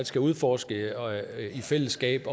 skal udforske i fællesskab